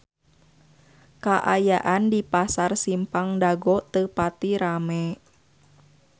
Kaayaan di Pasar Simpang Dago teu pati rame